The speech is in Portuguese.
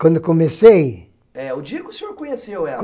Quando comecei... É, o dia que o senhor conheceu ela.